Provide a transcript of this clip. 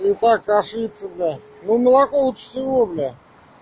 ну так ошибся бля ну молоко лучше всего бля